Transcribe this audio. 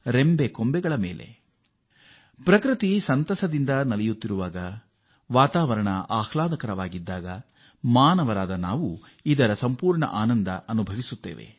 ಪ್ರಕೃತಿ ದೇವಿ ಅತೀವ ಸಂತಸದಿಂದ ಇರುವಾಗ ವಾತಾವರಣ ಆಹ್ಲಾದಕರವಾಗಿರುವಾಗ ಮಾನವರಾದ ನಾವೂ ಕೂಡ ಇದನ್ನು ಪೂರ್ಣವಾಗಿ ಆನಂದಿಸಬೇಕು